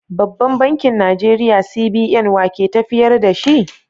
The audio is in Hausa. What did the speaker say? Babban Bankin Najeriya (CBN) wa ke tafiyar da shi?